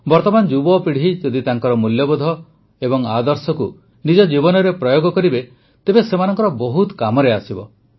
ବର୍ତ୍ତମାନ ଯୁବପିଢ଼ି ଯଦି ତାଙ୍କର ମୂଲ୍ୟବୋଧ ଓ ଆଦର୍ଶକୁ ନିଜ ଜୀବନରେ ପ୍ରୟୋଗ କରିବେ ତେବେ ସେମାନଙ୍କର ବହୁତ କାମରେ ଆସିବ